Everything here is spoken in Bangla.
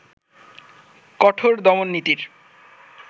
কঠোর দমননীতির